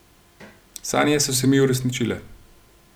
Sanje so se mi uresničile.